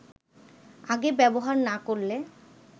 আগে ব্যবহার না করলে